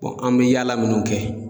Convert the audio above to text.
an bɛ yaala minnu kɛ.